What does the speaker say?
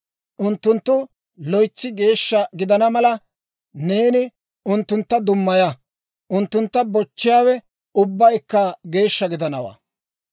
Unttunttu loytsi geeshsha gidana mala, neeni unttuntta dummaya; unttuntta bochchiyaawe ubbaykka geeshsha gidanawaa.